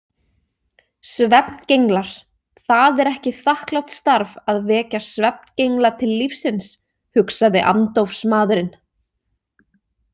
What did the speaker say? Svefngenglar Það er ekki þakklátt starf að vekja svefngengla til lífsins, hugsaði andófsmaðurinn.